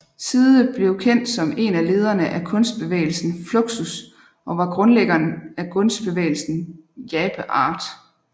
Side blev kendt som en af lederne af kunstbevægelsen Fluxus og var grundlæggeren af kunstbevægelsen Jape Art